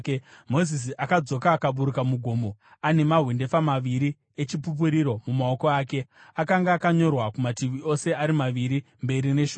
Mozisi akadzoka akaburuka mugomo ane mahwendefa maviri eChipupuriro mumaoko ake. Akanga akanyorwa kumativi ose ari maviri, mberi neshure.